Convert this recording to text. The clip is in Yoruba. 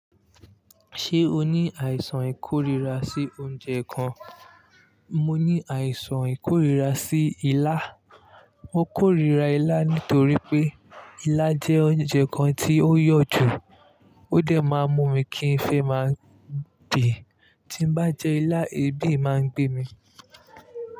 Ṣé o ní àìsàn ìkóríra sí oúnjẹ kan? Mo ní àìsàn ìkóríra sí ilá. Mo korira ilá nítorí pé ilá jẹ́ oúnjẹ kan tí ó yọ̀ jù. Ó dẹ̀ máa ń mú mi kí n fẹ́ máa bì. Tí n bá jẹ ilá, ebi máa ń gbé mi.